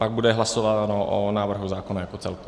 Pak bude hlasováno o návrhu zákona jako celku.